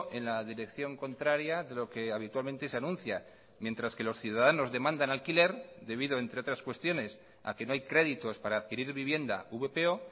en la dirección contraria de lo que habitualmente se anuncia mientras que los ciudadanos demandan alquiler debido entre otras cuestiones a que no hay créditos para adquirir vivienda vpo